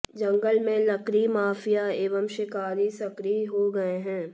जंगल में लकड़ी माफिया एव शिकारी सक्रिय हो गए हैं